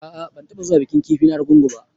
A'a ban taba zuwa bikin kifi na argungu ba.